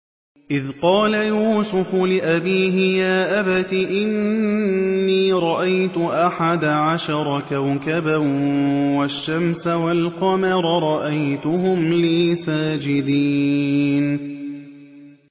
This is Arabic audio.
إِذْ قَالَ يُوسُفُ لِأَبِيهِ يَا أَبَتِ إِنِّي رَأَيْتُ أَحَدَ عَشَرَ كَوْكَبًا وَالشَّمْسَ وَالْقَمَرَ رَأَيْتُهُمْ لِي سَاجِدِينَ